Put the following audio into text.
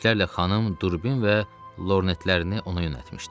Yüzlərlə xanım durbin və lornetlərini ona yönəltmişdi.